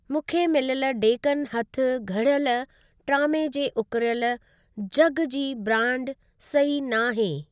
मूंखे मिलियल डेकन हथु घड़ियलु ट्रामे जे उकिरयलु जॻ जी ब्रांड सही न आहे।